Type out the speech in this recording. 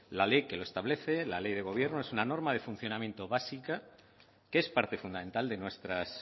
la ley que lo establece la ley de gobierno es una norma de funcionamiento básica que es parte fundamental de nuestras